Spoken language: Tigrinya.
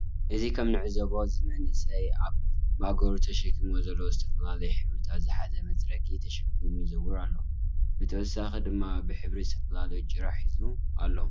እዚ ከምንዕዘቦ ዝመንእሰይ አብ ማእገሩ ተሸኪምዎ ዘሎ ዝተፈላለዮ ሕብርታት ዝሐዘ መፅረጊ ተሸኪሙ ይዘውር አሎ። ብተወሳኪ ድማ ብሕብር ዝተፈላለዮ ጭራ ሒዙ አሎ ።